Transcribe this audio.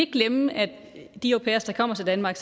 glemme at de au pairer der kommer til danmark